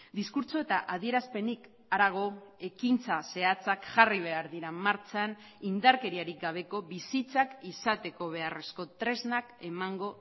diskurtso eta adierazpenik harago ekintza zehatzak jarri behar dira martxan indarkeriarik gabeko bizitzak izateko beharrezko tresnak emango